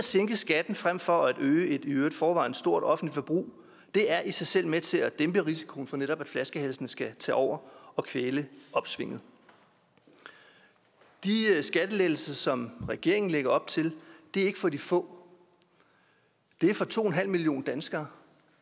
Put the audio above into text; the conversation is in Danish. sænke skatten frem for at øge et i øvrigt i forvejen stort offentligt forbrug er i sig selv med til at dæmpe risikoen for at netop flaskehalsene skal tage over og kvæle opsvinget de skattelettelser som regeringen lægger op til er ikke for de få det er for to en halv millioner danskere